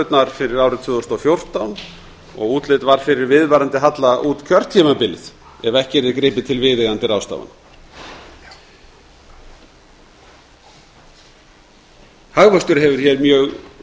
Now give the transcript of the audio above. tekjuhorfurnar fyrir árið tvö þúsund og fjórtán og útlit var fyrir viðvarandi halla út kjörtímabilið ef ekki yrði gripið til viðeigandi ráðstafana hagvöxtur hefur mjög